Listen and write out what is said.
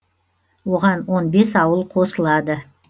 оған он бес ауыл қосылады